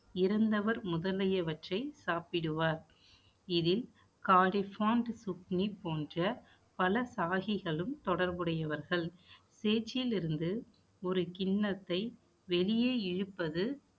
சாப்பிடுவார் இதில் சுக்னி போன்ற பல சாகிகளும் தொடர்புடையவர்கள். சேற்றில் இருந்து ஒரு கிண்ணத்தை வெளியே இழுப்பது